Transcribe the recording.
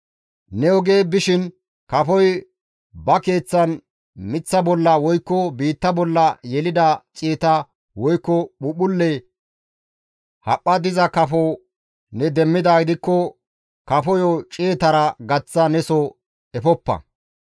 Ne oge bishin kafoy ba keeththan miththa bolla woykko biitta bolla yelida ciyeta woykko phuuphphulle haphpha diza kafo ne demmidaa kafoyo ciyetara gaththa neso efoppa.